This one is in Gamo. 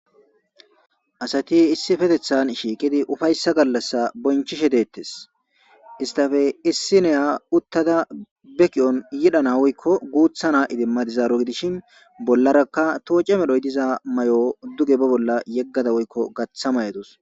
asati issipetethan shiiqidi ufayssa gallassa bonchishe deettes istafe issi neya uttada beki'on yidhana woykko guutha na idimmadizaaro gidishin bollarakka tooce medhoy diza mayo duge ba bolla yeggada woykko gaththa may7adus